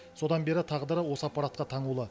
содан бері тағдыры осы аппаратқа таңулы